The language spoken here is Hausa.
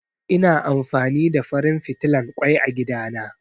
Ina amfani da farin fitilan ƙoi a gida na